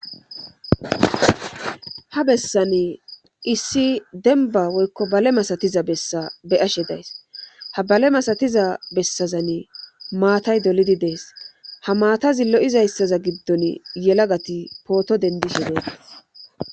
ha bessani issi denba woykko bale masatiza bessa beyashe days ha bale masatiza bessazanne maatay dolidi dees ha maatazi lo7izayssaza giddon yelagati pooto dendishe dees